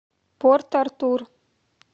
порт артур